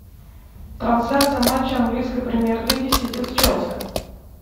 трансляция матча английской премьер лиги сити с челси